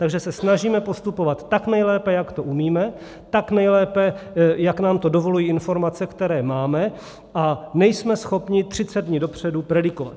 Takže se snažíme postupovat tak nejlépe, jak to umíme, tak nejlépe, jak nám to dovolují informace, které máme, a nejsme schopni 30 dní dopředu predikovat.